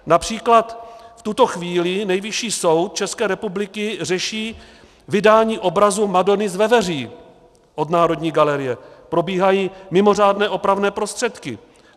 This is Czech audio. Například v tuto chvíli Nejvyšší soud České republiky řeší vydání obrazu Madony z Veveří od Národní galerie, probíhají mimořádné opravné prostředky.